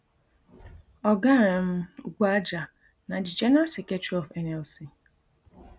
oga um ugboaja na di general secretary of nlc